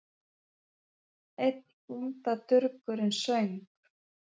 Einn bóndadurgurinn söng